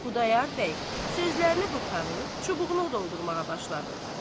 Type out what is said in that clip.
Xudayar bəy sözlərini qurtarıb, çubuğunu doldurmağa başladı.